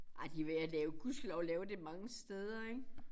Ej de ved at lave gudskelov lave det mange steder ik